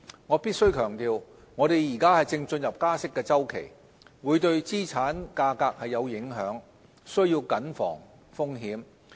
我必須強調，我們現正進入加息周期，會對資產價格有影響，須慎防風險。